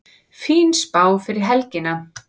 Fín spá fyrir helgina